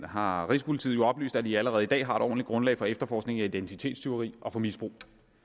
har rigspolitiet jo oplyst at de allerede i dag har et ordentligt grundlag for efterforskning af identitetstyveri og misbrug